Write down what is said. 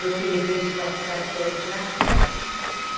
Eu que levei o esporte para todos lá. Uhum.